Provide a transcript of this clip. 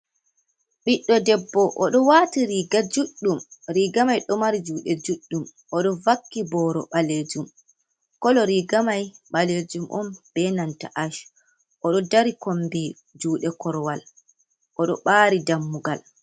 Ɓiɗɗo debbo. Oɗo waati riga juɗɗum, riga mai ɗo mari juuɗe juɗɗum, oɗo vakki boro ɓaleejum, kolo riga mai ɓaleejum on be nanta ach, oɗo dari kombi juuɗe korwal oɗo ɓaari dammugal.